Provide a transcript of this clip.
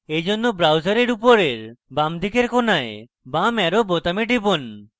এইজন্য browser উপরের বাঁদিকের কোণায় বাম arrow বোতামে টিপুন